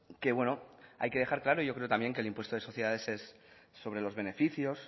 que hay que dejar claro yo creo que también que el impuesto de sociedades es sobre los beneficios